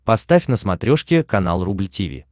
поставь на смотрешке канал рубль ти ви